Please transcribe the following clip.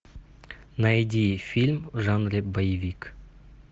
найди фильм в жанре боевик